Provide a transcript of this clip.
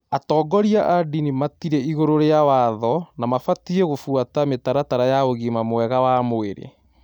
Atongoria a dini matirĩ igũrũ rĩa watho na mabatiĩ gũbũata mĩtaratara ya ũgima mwega wa mwĩrĩ